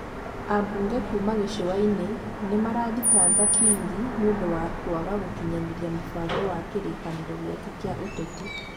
Ambunge kuuma gĩcũainĩ, nĩ marathitanga Kingi nĩ ũndũ wa kũaga gũkinyanĩrĩa mũbango wa kĩrĩkanĩro gĩake kĩa ũteti.